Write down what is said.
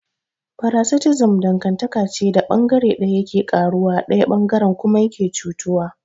Paraticism dangantaka ce da bangare daya yake karuwa daya bangaren kuma yake cutuwa.